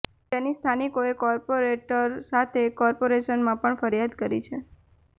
જેની સ્થાનિકોએ કોર્પોરેટર સાથે કોર્પોરેશનમાં પણ ફરિયાદ કરી છે